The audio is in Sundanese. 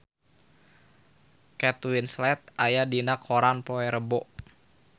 Kate Winslet aya dina koran poe Rebo